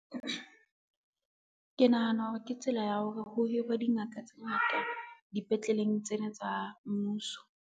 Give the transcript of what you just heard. Ke nahana hore ke tsela ya hore ho hirwe dingaka tse ngata dipetleleng tsena tsa mmuso.